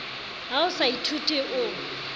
ha o sa ithuti o